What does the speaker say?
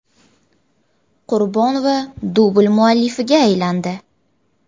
Qurbonova dubl muallifiga aylandi.